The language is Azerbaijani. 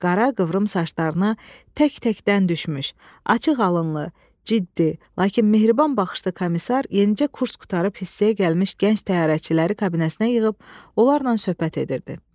Qara qıvrım saçlarına tək-təkdən düşmüş, açıq alınlı, ciddi, lakin mehriban baxışlı komissar yenicə kurs qurtarıb hissəyə gəlmiş gənc təyyarəçiləri kabinəsinə yığıb, onlarla söhbət edirdi.